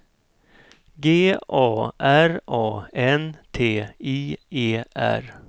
G A R A N T I E R